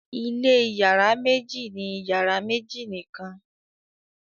ilé iyàrá méjì ni iyàrá méjì nìkàn